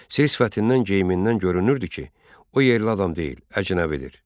Sifətindən, geyimindən görünürdü ki, o yerli adam deyil, əcnəbidir.